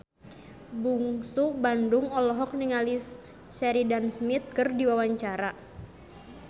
Bungsu Bandung olohok ningali Sheridan Smith keur diwawancara